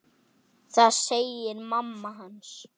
Það segir mamma hans.